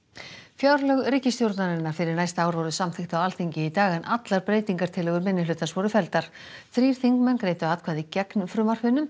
fjárlög ríkisstjórnarinnar fyrir næsta ár voru samþykkt á Alþingi í dag en allar breytingartillögur minnihlutans voru felldar þrír þingmenn greiddu atkvæði gegn frumvarpinu